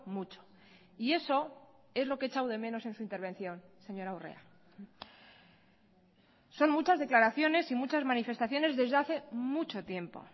mucho y eso es lo que he echado de menos en su intervención señora urrea son muchas declaraciones y muchas manifestaciones desde hace mucho tiempo